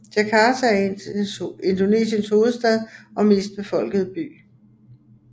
Jakarta er Indonesiens hovedstad og mest befolkede by